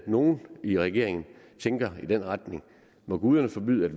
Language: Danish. nogle i regeringen tænker i den retning må guderne forbyde